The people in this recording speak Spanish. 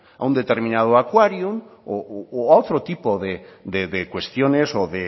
a un determinado aquarium o a otro tipo de cuestiones o